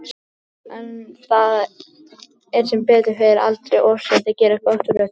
En það er sem betur fer aldrei of seint að gera gott úr öllu.